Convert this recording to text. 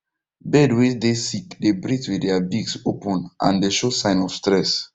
bird way dey sick dey breath with their beaks open and dey show sign of stress